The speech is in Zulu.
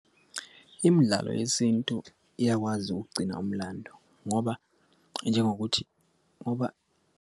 Imidlalo yesintu iyakwazi ukugcina umlando ngoba njengokuthi ngoba.